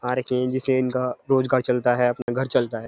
का रोजगार चलता है अपना घर चलता है।